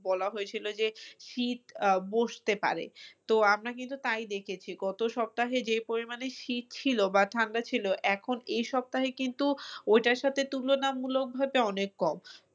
বলা হয়েছিল যে শীত আহ বসতে পারে তো আমরা কিন্তু তাই দেখেছি গত সপ্তাহে যে পরিমাণে শীত ছিল পা ঠান্ডা ছিল এখন এই সপ্তাহে কিন্তু ওইটার সাথে তুলনামূলকভাবে অনেক কম